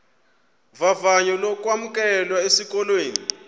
vavanyo lokwamkelwa esikolweni